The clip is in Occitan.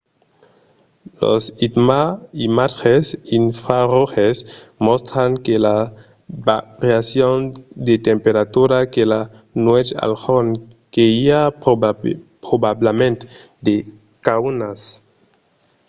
los imatges infraroges mòstran que las variacions de temperatura de la nuèch al jorn que i a probablament de caunas